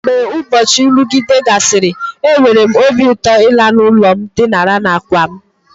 Mgbe ụbọchị nrụgide gasịrị, enwere m obi ụtọ ịla n'ụlọ ma dinara n'àkwà m.